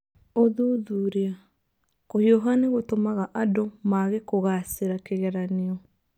Ũthuthuria: Kũhiũha nĩ gũtũmaga andũ maage kũgaacĩra kĩgeranio